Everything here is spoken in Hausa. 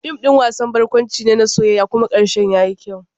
Fim ɗin wasan barkwanci ne na soyayya kuma karshen yayi kyau.